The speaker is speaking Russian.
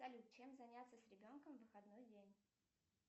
салют чем заняться с ребенком в выходной день